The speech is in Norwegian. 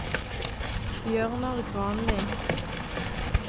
Bjørnar Granli